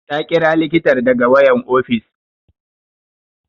Ta ƙira likitar daga wayan ofis